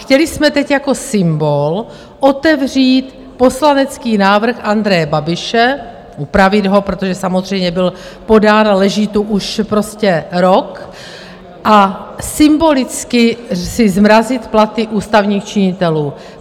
Chtěli jsme teď jako symbol otevřít poslanecký návrh Andreje Babiše, upravit ho - protože samozřejmě byl podán a leží tu už prostě rok - a symbolicky si zmrazit platy ústavních činitelů.